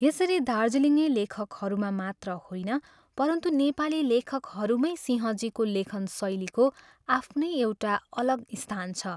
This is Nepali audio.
" यसरी दार्जिलिङे लेखकहरूमा मात्र होइन, परन्तु नेपाली लेखकहरूमै सिंहजीको लेखनशैलीको आफ्नै एउटा अलग स्थान छ।